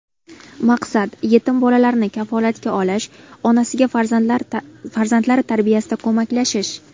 Maqsad: yetim bolalarni kafolatga olish, onasiga farzandlari tarbiyasida ko‘maklashish.